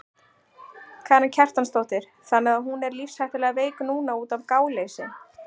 Karen Kjartansdóttir: Þannig að hún er lífshættulega veik núna útaf gáleysi?